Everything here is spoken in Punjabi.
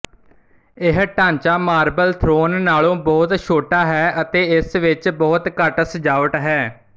ਇਹ ਢਾਂਚਾ ਮਾਰਬਲ ਥ੍ਰੋਨ ਨਾਲੋਂ ਬਹੁਤ ਛੋਟਾ ਹੈ ਅਤੇ ਇਸ ਵਿੱਚ ਬਹੁਤ ਘੱਟ ਸਜਾਵਟ ਹੈ